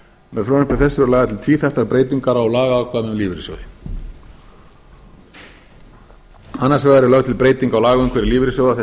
með frumvarpi þessu eru lagðar til tvíþættar breytingar á lagaákvæðum um lífeyrissjóði annars vegar er lögð til breyting á lagaumhverfi lífeyrissjóða þess